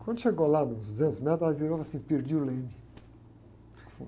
Quando chegou lá, nos duzentos metros, ela virou e falou assim, perdi o leme.